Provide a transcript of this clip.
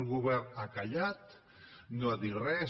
el govern ha callat no ha dit res